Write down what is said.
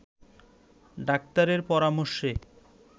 ডাক্তারের পরামর্শে